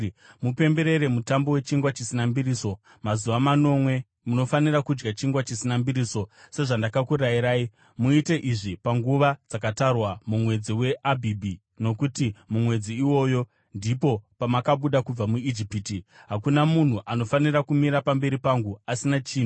“Mupemberere Mutambo weChingwa Chisina Mbiriso; mazuva manomwe, munofanira kudya chingwa chisina mbiriso, sezvandakakurayirai. Muite izvi panguva dzakatarwa mumwedzi waAbhibhi, nokuti mumwedzi iwoyo ndipo pamakabuda kubva muIjipiti. “Hakuna munhu anofanira kumira pamberi pangu asina chinhu.